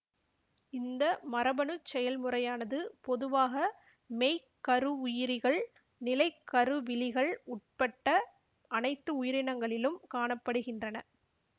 இந்த மரபணுச் செயல்முறையானது பொதுவாக மெய்க்கருவுயிரிகள் நிலைக்கருவிலிகள் உட்பட்ட அனைத்து உயிரினங்களிலும் காண படுகின்றன